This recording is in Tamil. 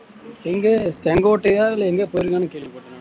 எங்க செங்கோட்டையா இல்ல எங்கேயோ போயிருக்கான்னு கேள்விப்பட்டேன் நானு